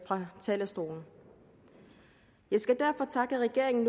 fra talerstolen jeg skal derfor takke regeringen